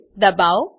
ને દબાઓ